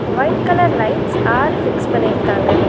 White colour lights ஆறு fix பண்ணிருக்காங்க.